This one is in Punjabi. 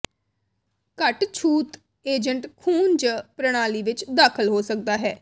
ਘੱਟ ਛੂਤ ਏਜੰਟ ਖ਼ੂਨ ਜ ਪ੍ਰਣਾਲੀ ਵਿੱਚ ਦਾਖਲ ਹੋ ਸਕਦਾ ਹੈ